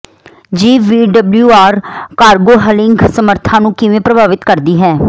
ਜੀਵ ਵੀ WR cargo hauling ਸਮੱਰਥਾਵਾਂ ਨੂੰ ਕਿਵੇਂ ਪ੍ਰਭਾਵਿਤ ਕਰਦੀ ਹੈ